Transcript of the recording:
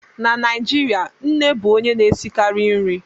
Na Naijirịa, nne bụ onye na-esikarị nri